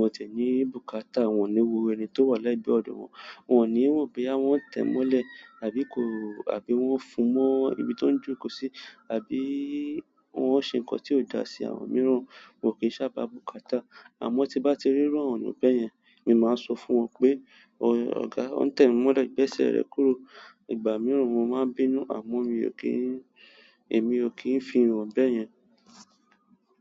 Wọn tí ẹni bùkátà, wọ́n ní wo ẹni tó wà lẹ́gbẹ̀ẹ́ ọ̀dọ̀ wọn, wọ́n ní mo bóyá wọ́n tẹ̀ mọ́lẹ̀ tàbí kò àbí wọ́n fún mọ́ ibi tó ń jókòó sí àbí wọ́n ṣe nǹkan tí ò dá sí àwọn mìíràn. Mo kì í sábà bùkátà àmọ́ tí bá ti rí irù àwọn ènìyàn b'yẹn, ni máa sọ fún wọn pé, "Ọ̀gá, o ń tẹ̀ mi mọ́lẹ̀ gbẹ́sẹ̀ rẹ kúrò." Igba mìíràn mo máa n bìnú àmọ́ mi ò kí n, èmi ò kí ń fi hàn b'yẹn.